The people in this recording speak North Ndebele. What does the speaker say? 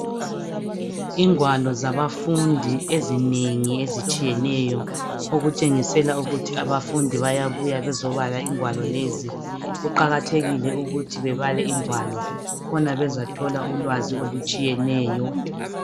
Ingwalo zabafundi ezinengi ezitshiyeneyo okutshengisela ukuthi abafundi bayabuya bezobala ingwalo lezi. Kuqakathekile ukuthi bebale ingwalo khona bezathola ulwazi olutshiyeneyo.